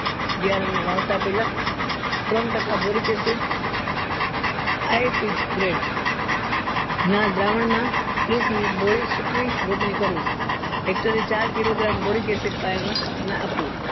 બિયારણ ને પેલા ત્રણ ટકા boric acid grade ના દ્રાવણ માં ત્રીસ minute બોલી રોપણી કરવી hector એ ચાર kilogram boric acid પાયામાં નાખવું